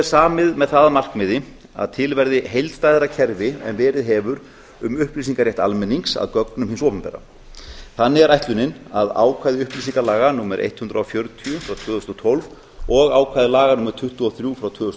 samið með það að markmiði að til verði heildstæðara kerfi en verið hefur um upplýsingarétt almennings að gögnum hins opinbera þannig er ætlunin að ákvæði upplýsingalaga númer hundrað og fjörutíu tvö þúsund og tólf og ákvæði laga númer tuttugu og þrjú tvö þúsund